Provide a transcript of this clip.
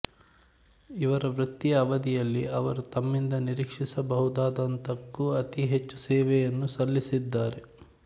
ಇವರ ವೃತ್ತಿಯ ಅವದಿಯಲ್ಲಿ ಅವರು ತಮ್ಮಿಂದ ನಿರೀಕ್ಷಿಸಬಹುದಾದಂತಕೂ ಅತೀ ಹೆಚ್ಚು ಸೇವೆಯನ್ನು ಸಲ್ಲಿಸಿದ್ದಾರೆ